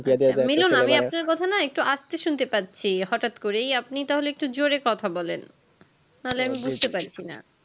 মিলন আমি আপনার কথা না একটু আস্তে শুনতে পারছি হঠাৎ করেই আপনি তাহলে একটু জোরে কথা বলেন না বুঝতে পারসিনা